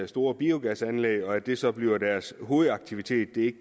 store biogasanlæg og at det så bliver deres hovedaktivitet det